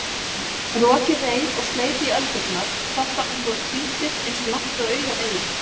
Rokið reif og sleit í öldurnar, topparnir voru hvítir eins langt og augað eygði.